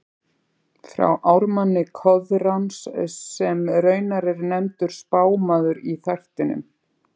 frá ármanni Koðráns, sem raunar er nefndur spámaður í þættinum